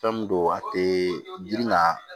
Fɛn min don a tɛ girinna